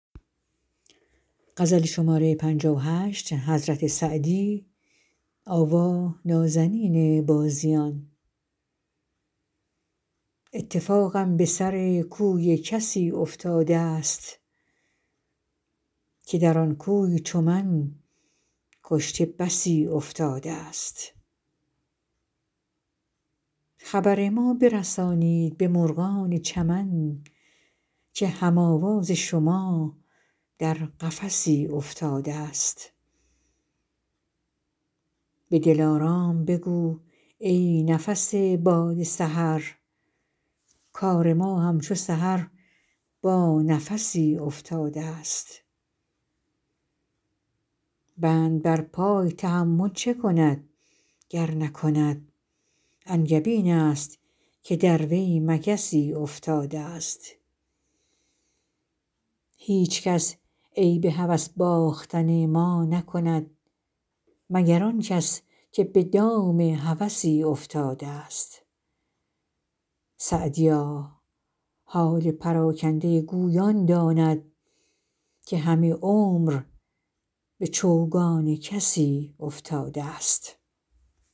اتفاقم به سر کوی کسی افتاده ست که در آن کوی چو من کشته بسی افتاده ست خبر ما برسانید به مرغان چمن که هم آواز شما در قفسی افتاده ست به دلارام بگو ای نفس باد سحر کار ما همچو سحر با نفسی افتاده ست بند بر پای تحمل چه کند گر نکند انگبین است که در وی مگسی افتاده ست هیچکس عیب هوس باختن ما نکند مگر آن کس که به دام هوسی افتاده ست سعدیا حال پراکنده گوی آن داند که همه عمر به چوگان کسی افتاده ست